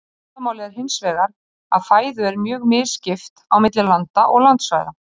Vandamálið er hins vegar að fæðu er mjög misskipt á milli landa og landsvæða.